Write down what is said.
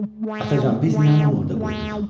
Atacan, biz niyə anamı orda qoyduq?